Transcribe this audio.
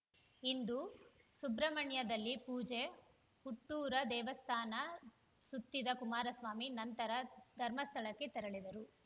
ಇಂದು ಸುಬ್ರಹ್ಮಣ್ಯದಲ್ಲಿ ಪೂಜೆ ಹುಟ್ಟೂರ ದೇವಸ್ಥಾನ ಸುತ್ತಿದ ಕುಮಾರಸ್ವಾಮಿ ನಂತರ ಧರ್ಮಸ್ಥಳಕ್ಕೆ ತೆರಳಿದರು